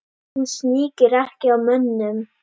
Hún sníkir ekki á mönnum.